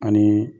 Ani